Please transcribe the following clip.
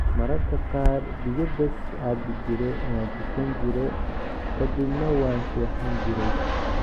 Mararka kaar biyo bes aabijire ,wantukanjire kadibna waan seexanjirey.